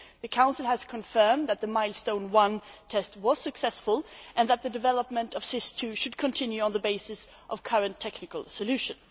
The Council has confirmed that the Milestone I test was successful and that the development of SIS II should continue on the basis of current technical solutions.